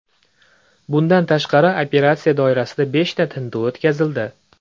Bundan tashqari, operatsiya doirasida beshta tintuv o‘tkazildi.